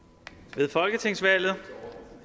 ved folketingsvalget